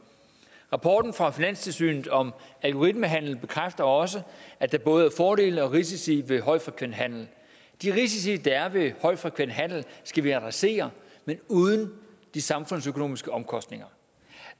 rapporten fra finanstilsynet om algoritmehandel bekræfter også at der både er fordele og risici ved højfrekvent handel de risici der er ved højfrekvent handel skal vi adressere men uden de samfundsøkonomiske omkostninger